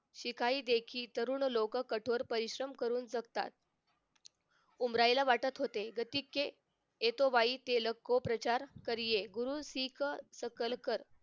शिकाही देखी कठोर लोक परिश्रम करू शकतात उमराईला वाटत होते गतिके येतो वाई तेलोको प्रचार करिये गुरु शीख सकल कर